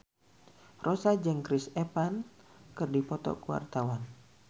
Rossa jeung Chris Evans keur dipoto ku wartawan